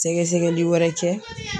Sɛgɛsɛgɛli wɛrɛ kɛ